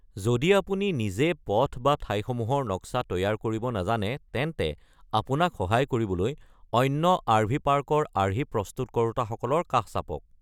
যদি আপুনি নিজে পথ বা ঠাইসমূহৰ নক্সা তৈয়াৰ কৰিব নাজানে তেন্তে আপোনাক সহায় কৰিবলৈ অন্য আৰ.ভি. পাৰ্কৰ আৰ্হি প্ৰস্তুত কৰোতা সকলৰ কাষ চাপক।